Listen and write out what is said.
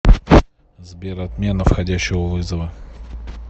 сбер отмена входящего вызова